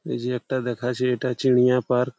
এইযে একটা দেখাছে এটা চিনিয়া পার্ক ।